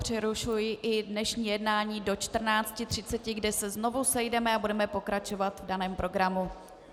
Přerušuji i dnešní jednání do 14.30, kdy se znovu sejdeme a budeme pokračovat v daném programu.